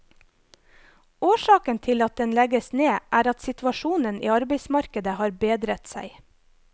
Årsaken til at den legges ned er at situasjonen i arbeidsmarkedet har bedret seg.